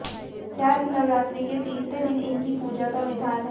चैत्र नवरात्रि के तीसरे दिन इनकी पूजा का विधान है